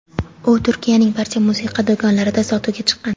U Turkiyaning barcha musiqa do‘konlarida sotuvga chiqqan.